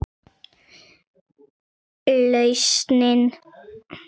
Lausnin ás er til.